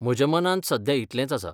म्हज्या मनांत सद्या इतलेंच आसा